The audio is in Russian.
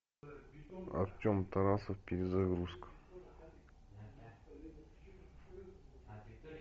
артем тарасов перезагрузка